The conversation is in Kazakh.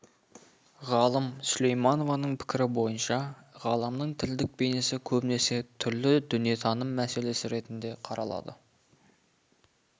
ғалым сүлейменованың пікірі бойынша ғаламның тілдік бейнесі көбінесе түрлі дүниетаным мәселесі ретінде қаралады